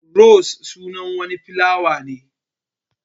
Ros sunan wani filawa ne.